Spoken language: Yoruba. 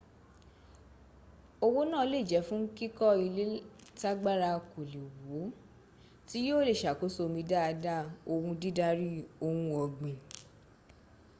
owó náà lè jẹ́ fún kíkọ́ ilé tágbàrá kò le wọ̀ tí yíò le sàkóso omi dáadáa òhun dídari ohun ọ̀gbìn